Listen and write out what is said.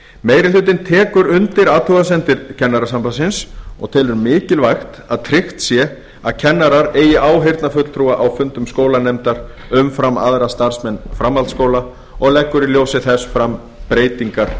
meiri hlutinn tekur undir athugasemdir kennarasambandsins og telur mikilvægt að tryggt sé að kennarar eigi áheyrnarfulltrúa á fundum skólanefndar umfram aðra starfsmenn framhaldsskóla og leggur í ljósi þess fram breytingar